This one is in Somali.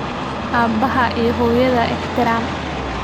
Aabbahaa iyo hooyadaa ixtiraam.